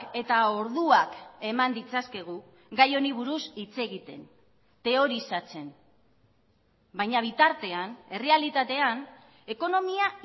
eta orduak eman ditzakegu gai honi buruz hitz egiten teorizatzen baina bitartean errealitatean ekonomia